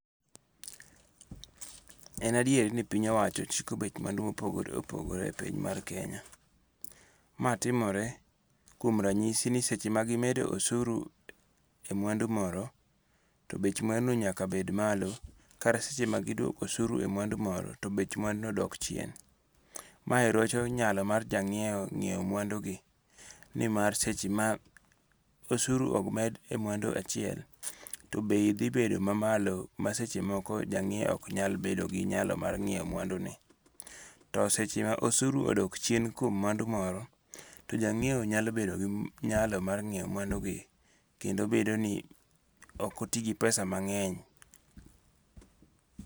En adieri ni piny owacho chiko bech mwandu ma opogore opogore e piny mar Kenya, ma timore kuom ranyisi ni seche ma gimedo osuru e mwandu moro to bech mwanduno nyaka bed malo kata seche ma gidwoko osuru e mwandu moro to bech mwanduno dok chien, mae rocho nyalo mar janyiewo nyiewo mwandugi ni mar seche ma osuru omed e mwandu achiel to bei thi bedo mamalo masechemoko janyiewo ok nyal bedo gi nyalo mar nyiewo mwanduno, to seche ma osuru odok chien kuom mwandu moro to janyiewo nyalo bedo gi nyalo ma nyiewo mwandugi kendo bedoni okoti gi pesa mange'ny.